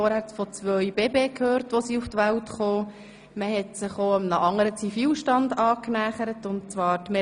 Meret Schindler hat sich derweil einem anderen Zivilstand angenähert: